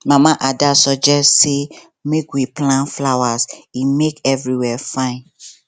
mama ada suggest say make we plant flowers e make everywhere fine